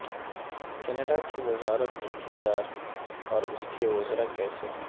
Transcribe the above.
Canada کی وزارت کی کردار اور اس کے وزراء کیسے ہیں